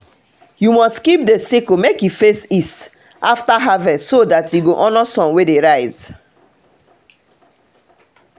you must keep the sickle make e face east after harvest so that e go honor sun wey dey rise.